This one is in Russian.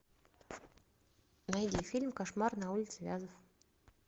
найди фильм кошмар на улице вязов